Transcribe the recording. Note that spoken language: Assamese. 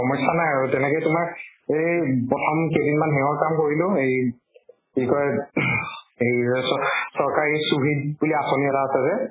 সমস্য়া নাই আৰু তেনেকে তোমাৰ এই প্ৰথম কেইদিনমান হেয়ৰ কাম কৰিলো এই কি কয় US ত চৰকাৰী চুভিত বুলি আচনী এটা আছে যে